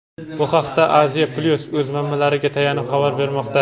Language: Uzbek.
Bu haqda "Aziya-Plyus" o‘z manbalariga tayanib xabar bermoqda.